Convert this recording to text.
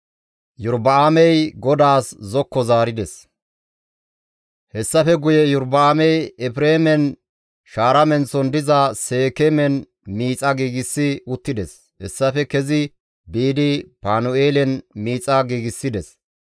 Hessafe guye Iyorba7aamey Efreemen shaara menththon diza Seekeemen miixa giigsi uttides; hessafe kezi biidi Panu7eelen miixa giigsides.